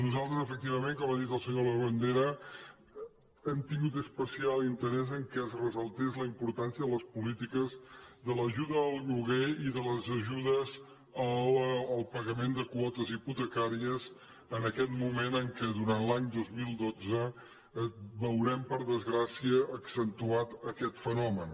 nosaltres efectivament com ha dit el senyor labandera hem tingut especial interès que es ressaltés la importància de les polítiques de l’ajuda al lloguer i de les ajudes al pagament de quotes hipotecàries en aquest moment en què durant l’any dos mil dotze veurem per desgràcia accentuat aquest fenomen